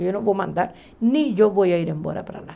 Eu não vou mandar, nem eu vou ir embora para lá.